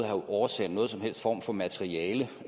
have oversendt nogen som helst form for materiale